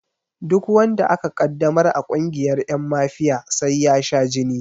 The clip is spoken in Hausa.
Duk wanda aka ƙaddamar a ƙungiyar ƴan mafiya sai ya sha jini